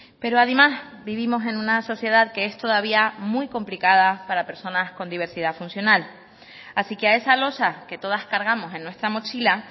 pero además vivimos en una sociedad que es todavía muy complicada para personas con diversidad funcional así que a esa losa que todas cargamos en nuestra mochila